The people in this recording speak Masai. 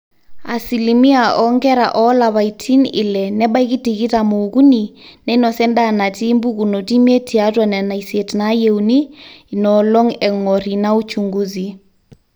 asilimia oonkera oolapaitin ile nebaiki tikitam ookuni neinosa endaa natii mbukunot imiet tiatwa nena isiet naayieuni inoolong eng'or ina uchungusi